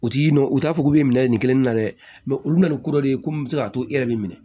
U t'i nɔ u t'a fɔ k'u bɛ minɛ ɲini kelenna dɛ mɛ olu bɛna ni ko dɔ de ye komi bɛ se k'a to e yɛrɛ bɛ minɛ